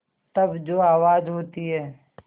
तब जो आवाज़ होती है